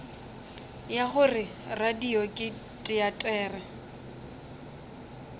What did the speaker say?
ya gore radio ke teatere